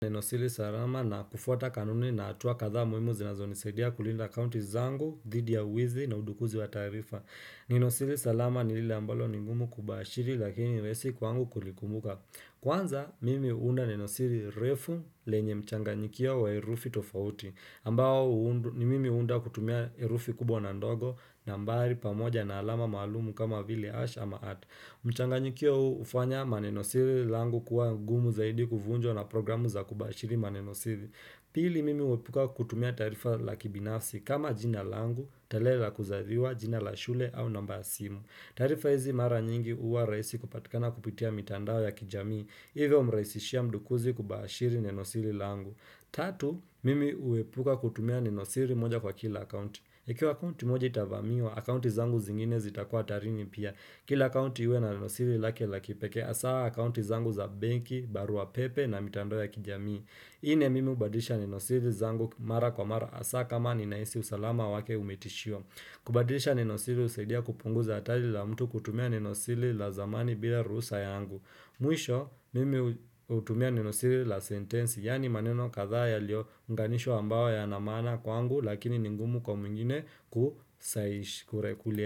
Neno siri salama na kufuata kanuni na hatua kadhaa muhimu zinazonisaidia kulinda akaunti zangu, dhidi ya wizi na udukuzi wa taarifa. Neno siri salama ni lile ambalo ni ngumu kubashiri lakini rahisi kwangu kulikumbuka. Kwanza, mimi huunda neno siri refu lenye mchanganyikio wa herufi tofauti. Ambao ni mimi huunda kutumia herufi kubwa na ndogo nambari pamoja na alama maalumu kama vile hash ama at. Mchanganyikio huu hufanya manenosiri langu kuwa gumu zaidi kuvunjwa na programu za kubashiri manenosiri Pili mimi huepuka kutumia tarifa la kibinafsi kama jina langu, tale la kuzaliwa, jina la shule au namba ya simu taarifa hizi mara nyingi uwa raisi kupatikana kupitia mitandao ya kijamii Ivo umraisishia mdukuzi kubashiri nenosiri langu Tatu, mimi uepuka kutumia nenosiri moja kwa kila akaunti ikiwa akaunti moja itavamiwa, akaunti zangu zingine zitakua hatarini pia Kila akaunti iwe na nenosiri lake la kipekee hasaa akaunti zangu za benki, barua pepe na mitandao ya kijamii. Nne mimi ubadilisha neno siri zangu mara kwa mara hasaa kama ninahisi usalama wake umetishiwa. Kubadisha neno siri usaidia kupunguza atali la mtu kutumia neno siri la zamani bila ruhusa yangu. Mwisho mimi utumia nenosiri la sentensi yani maneno kadha ya lio unganishwa ambayo yana maana kwangu lakini ni ngumu kwa mwingine kusayish.